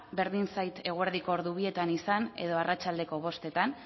berdin zait eguerdiko hamalauzeroetan izan edo arratsaldeko hamazazpizeroetan